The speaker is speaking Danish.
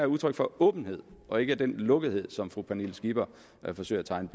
udtryk for åbenhed og ikke den lukkethed som fru pernille skipper forsøger at tegne